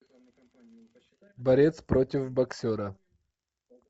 борец против боксера